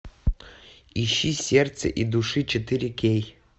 ищи сердце и души четыре кей